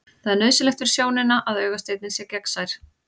Það er nauðsynlegt fyrir sjónina að augasteininn sé gegnsær.